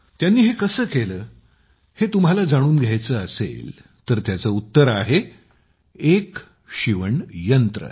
त्यांनी हे कसे केले हे तुम्हाला जाणून घ्यायचे असेल तर त्याचं उत्तर आहे एक शिवण यंत्र